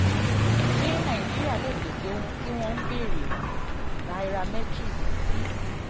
ṣé nàìjíríà lè pèsè ohun tí wọ́n ń béèrè? nairametrics ti